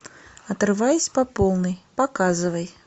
отрываясь по полной показывай